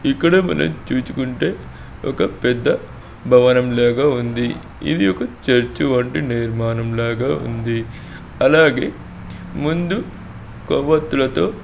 ఇక్కడే మనం చూచుకుంటే ఒక పెద్ద భవనం లాగా ఉంది. ఇది ఒక చర్చి వంటి నిర్మాణం లాగా ఉంది. అలాగే ముందు కొవ్వత్తులతో--